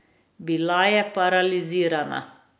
Bila je paralizirana.